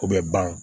O bɛ ban